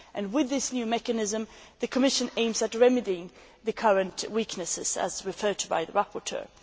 With this new mechanism, the Commission aims to remedy the current weaknesses as referred to by the rapporteur.